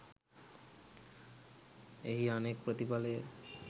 එහි අනෙක් ප්‍රතිඵලය